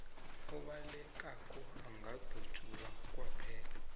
obalekako angadutjulwa kwaphela